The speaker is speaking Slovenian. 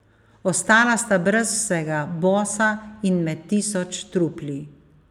Ostala sta brez vsega, bosa in med tisoč trupli.